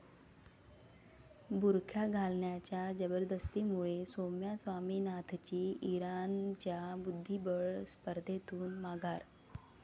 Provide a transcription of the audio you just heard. बुरखा घालण्याच्या जबरदस्तीमुळे सौम्या स्वामीनाथनची इराणच्या बुद्धिबळ स्पर्धेतून माघार!